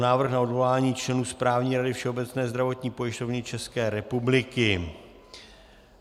Návrh na odvolání členů Správní rady Všeobecné zdravotní pojišťovny České republiky